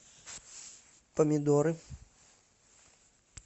помидоры